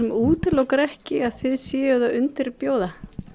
útilokar ekki að þið séuð að undirbjóða